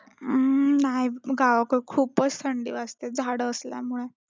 अं नाही गावाकडं खूपच थंडी वाजते झाडं असल्यामुळे.